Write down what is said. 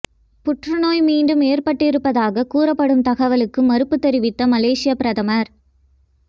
புற்றுநோய் மீண்டும் ஏற்பட்டிருப்பதாகக் கூறப்படும் தகவலுக்கு மறுப்பு தெரிவித்த மலேசிய பிரதமர்